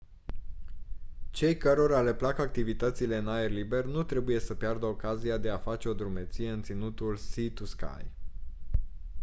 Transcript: cei cărora le plac activitățile în aer liber nu trebuie să piardă ocazia de a face o drumeție în ținutul sea-to-sky